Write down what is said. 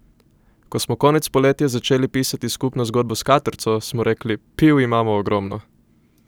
Ko smo konec poletja začeli pisati skupno zgodbo s Katrco, smo rekli: 'Piv imamo ogromno.